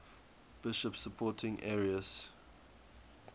bishops supporting arius